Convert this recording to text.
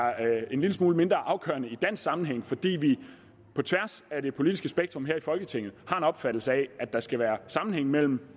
en lille smule mindre afgørende i dansk sammenhæng fordi vi på tværs af det politiske spektrum her i folketinget har en opfattelse af at der skal være sammenhæng mellem